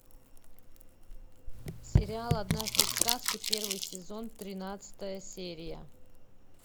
сериал однажды в сказке первый сезон тринадцатая серия